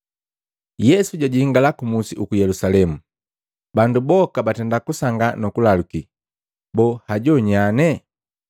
Yesu jajingala kumusi ku Yelusalemu, bandu boka batenda kujabalika nukulaluki, “Boo hajo nyane?”